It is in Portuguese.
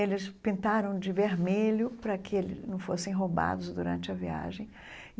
Eles pintaram de vermelho para que eles não fossem roubados durante a viagem.